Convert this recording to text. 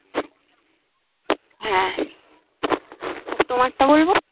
হ্যাঁ আর তোমার টা বলবো